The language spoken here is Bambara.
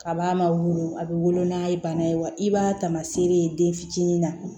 Kab'a ma wolo a bɛ wolo n'a ye bana ye wa i b'a tamaseere ye den fitinin na